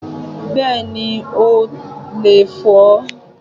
Bẹ́ẹ̀ni, o leè fo